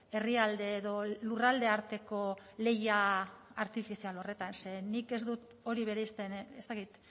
herrialde edo lurralde arteko lehia artifizial horretan ze nik ez dut hori bereizten ez dakit